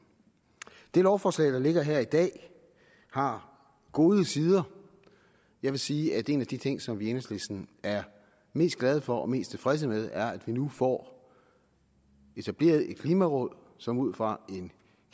det lovforslag der ligger her i dag har gode sider jeg vil sige at en af de ting som vi i enhedslisten er mest glade for og mest tilfredse med er at vi nu får etableret et klimaråd som ud fra en